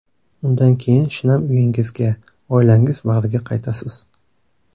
Undan keyin shinam uyingizga, oilangiz bag‘riga qaytasiz.